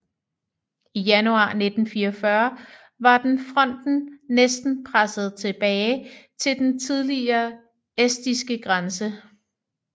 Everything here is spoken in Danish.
I januar 1944 var den fronten næsten presset tilbage til den tidligere estiske grænse